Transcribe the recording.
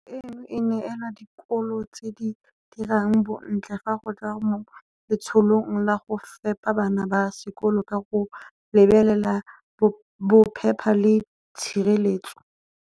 Kabo eno e neelwa dikolo tse di dirang bontle fa go tla mo letsholong la go fepa bana ba sekolo ka go lebelela bophepa le tshireletso.